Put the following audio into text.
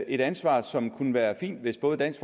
et ansvar som kunne være fint hvis både dansk